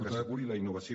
que asseguri la innovació